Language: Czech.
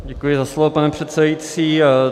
Děkuji za slovo, pane předsedající.